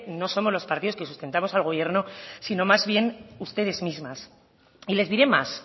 no somos los partidos que sustentamos al gobierno sino más bien ustedes mismas y les diré más